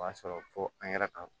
O y'a sɔrɔ fo an yɛrɛ ka